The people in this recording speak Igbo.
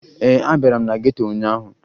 Ee, abịara m na geto ụnyaahụ